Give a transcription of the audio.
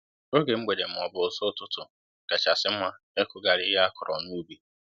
Oge mgbede ma ọbu ụzụ ụtụtụ kachasị mma ịkụghari ihe akọrọ n'ubi